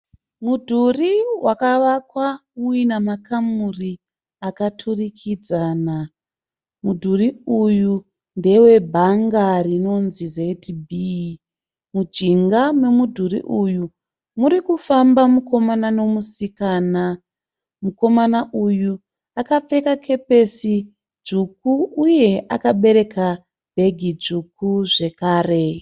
Mudhurii wakavakwa uina makamuri akaturikidzana. Mudhurii uyu ndewe bhanga rinonzi ZB. Mujinga memudhuri uyu murikufamba mukomana nemusikana. Mukomana uyu akapfeka kepesi dzvuku uye akabereka bhegi dzvuku zvekare.